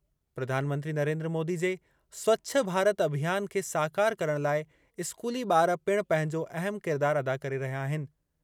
प्रधानमंत्री नरेंद्र मोदी जे स्वछ भारत अभियान खे साकारु करण लाइ स्कूली ॿार पिणु पंहिंजो अहम किरदार अदा करे रहिया आहिनि।